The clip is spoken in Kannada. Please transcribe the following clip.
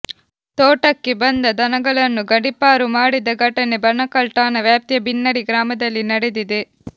ತೋಟಕ್ಕೆ ಬಂದ ದನಗಳನ್ನು ಗಡಿಪಾರು ಮಾಡಿದ ಘಟನೆ ಬಣಕಲ್ ಠಾಣಾ ವ್ಯಾಪ್ತಿಯ ಬಿನ್ನಡಿ ಗ್ರಾಮದಲ್ಲಿ ನಡೆದಿದೆ